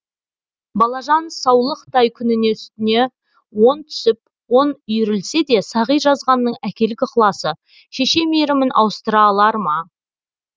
балажан саулықтай күніне үстіне он түсіп он үйірілсе де сағи жазғанның әкелік ықыласы шеше мейірімін ауыстыра алар ма